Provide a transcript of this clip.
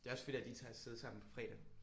Det er også fedt at I tager af sted sammen på fredag